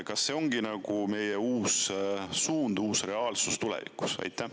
Kas see ongi meie uus suund, uus reaalsus tulevikus?